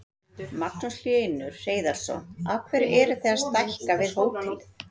Magnús Hlynur Hreiðarsson: Af hverju eruð þið að stækka við hótelið?